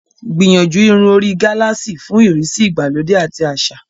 Gbìyànjú irun orí gálààsì fún ìrísí ìgbàlódé àti àṣà.